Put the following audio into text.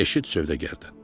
Eşit sövdəgardən.